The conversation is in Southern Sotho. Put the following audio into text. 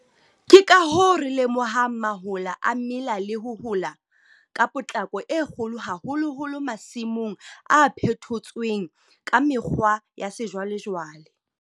Ke ka hoo re lemohang mahola a mela le ho hola ka potlako e kgolo haholoholo masimong a phethotsweng ka mekgwa ya sejwalejwale.